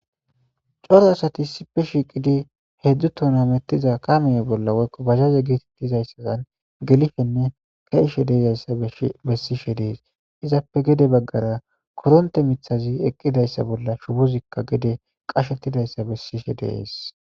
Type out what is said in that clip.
coro asati issippe e shiiqidi heedzdzu tona mettiza kamiye bolla woykko bazaze geetettizayssaan gelifenne kaishe deeyzayssa bessishe dees izappe gede baggara koronte mithazi eqqidayssa bolla shubuzikka gede qashettidayssa bessishe deees